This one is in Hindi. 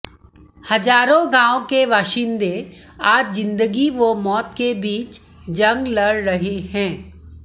हजारों गांव के बाशिंदे आज जिन्दगी व मौत के बीच जंग लड़ रहे हैं